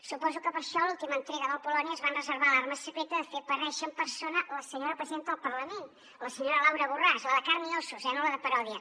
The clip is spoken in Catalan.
suposo que per això a l’última entrega del polònia es van reservar l’arma secreta de fer aparèixer en persona la senyora presidenta del parlament la senyora laura borràs la de carn i ossos eh no la de paròdia